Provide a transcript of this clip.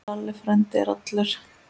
Lalli frændi er allur.